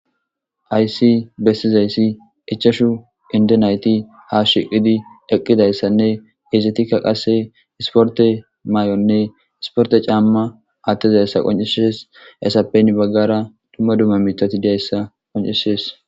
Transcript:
Hayis besizays ichachu inido nayiti hashiqidi eqidaysanee izatika qase isiforite mayonee isiforite cama athisizaysa qoncises haysape hini bagara duma duma mithati de'eyisa beses